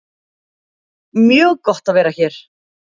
Mjög gott að vera hér